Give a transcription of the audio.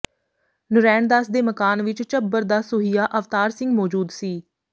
ਨਰੈਣ ਦਾਸ ਦੇ ਮਕਾਨ ਵਿਚ ਝੱਬਰ ਦਾ ਸੂਹੀਆ ਅਵਤਾਰ ਸਿੰਘ ਮੌਜੂਦ ਸੀ